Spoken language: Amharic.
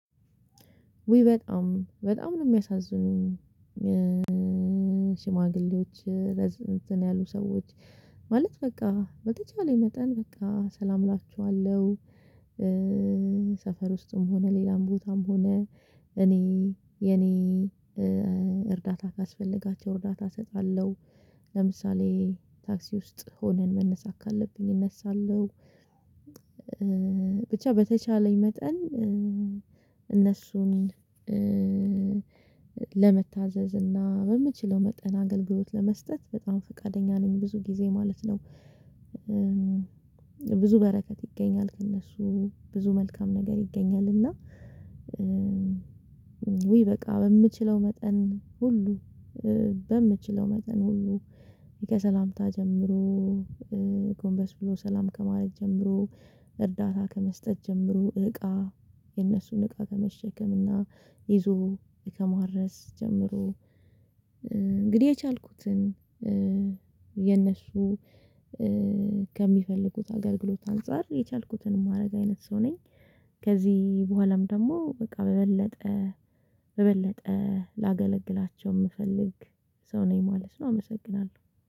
ውይ በጣም በጣም ነው የሚያሳዝኑኝ ሽማግሌዎች እንትን ያሉ ሰዎች ማለት በቃ በተቻለ መጠን በቃ ሰላም እላችኋለሁ። ውስጥም ሆነ ሌላም ቦታም ሆነ እኔ የኔ እርዳታ ካስፈለጋቸው እርዳታ እሰጣለሁ፤ ለምሳሌ ታክሲ ውስጥ ሆነን መነሳት ካለብኝ እነሳለሁ፤ ብቻ በተቻለኝ መጠን እነሱን ለመታዘዝ እና በምችለው መጠን አገልግሎት ለመስጠት በጣም ፈቃደኛ ነኝ ብዙ ጊዜ ማለት ነው። ብዙ በረከት ይገኛል ከእነሱ፤ ብዙ መልካም ነገር ይገኛል እና ውይ በቃ በምችለው መጠን ሁሉ በምችለው መጠን ሁሉ ከሰላምታ ጀምሮ ጎንበስ ብሎ ሰላም ከማድረግ ጀምሮ፣ እርዳታ ከመስጠት ጀምሮ፣ እቃ የነሱን እቃ ከመሸከምና ይዞ ከማድረስ ጀምሮ እንግዲህ የቻልኩትን የነሱ ከሚፈልጉት አገልግሎት አንፃር የቻልኩትን ማድረግ አይነት ሰው ነኝ። ከዚህ በኋላም ደግሞ በቃ በበለጠ በበለጠ ላገለግላቸው የምፈልግ ሰው ነኝ ማለት ነው አመሰግናለሁ።